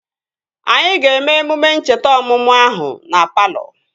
Anyị ga-eme emume ncheta ọmụmụ ahụ na palọ